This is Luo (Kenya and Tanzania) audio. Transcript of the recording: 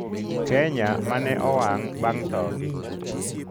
Kenya ma ne owang’ bang’ thogi